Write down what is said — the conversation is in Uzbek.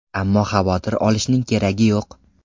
Ammo xavotir olishning keragi yo‘q.